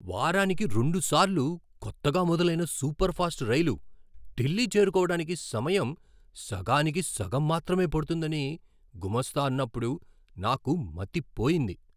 వారానికి రెండుసార్లు కొత్తగా మొదలైన సూపర్ ఫాస్ట్ రైలు ఢిల్లీ చేరుకోవడానికి సమయం సగానికి సగం మాత్రమే పడుతుందని గుమస్తా అన్నప్పుడు నాకు మతి పోయింది!